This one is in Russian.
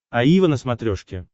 аива на смотрешке